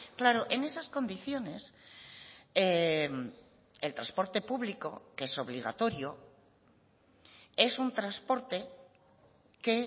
claro en esas condiciones el transporte público que es obligatorio es un transporte que